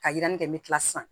Ka yirini kɛ n bɛ kila sisan